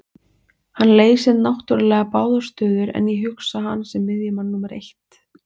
Hann leysir náttúrulega báðar stöður en ég hugsa hann sem miðjumann númer eitt.